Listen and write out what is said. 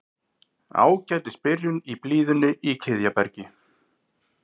Ágætis byrjun í blíðunni í Kiðjabergi